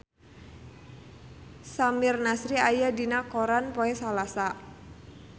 Samir Nasri aya dina koran poe Salasa